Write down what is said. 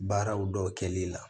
Baaraw dɔ kɛli la